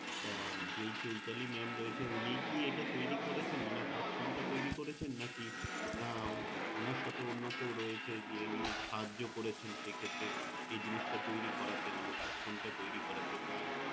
তা যেই Choitali Mam রয়েছে উনিই কি এটা তৈরী করেছেন অনাথ আশ্রমটা তৈরী করেছেন নাকি না ওনার সাথে অন্য কেউ রয়েছে যে নিয়ে সাহায্য করেছেন সেক্ষেত্রে এই জিনিসটা তৈরী করাতে অনাথ আশ্রমটা তৈরি করাতে বা